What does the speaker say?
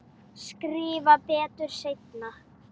Skrifa betur seinna.